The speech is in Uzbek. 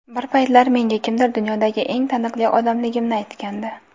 Bir paytlar menga kimdir dunyodagi eng taniqli odamligimni aytgandi.